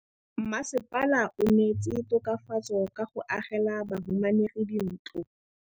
Mmasepala o neetse tokafatsô ka go agela bahumanegi dintlo.